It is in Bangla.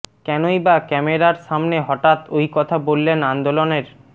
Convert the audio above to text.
কেনই বা ক্যামেরার সামনে হঠাৎ ওই কথা বললেন আন্দোলনের